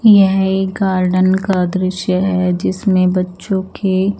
यह एक गार्डन का दृश्य है जिसमें बच्चो के--